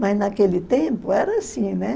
Mas naquele tempo era assim, né?